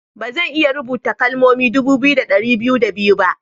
Ba zan iya rubuta kalmomi dubu biyu da dari biyu da biyu ba.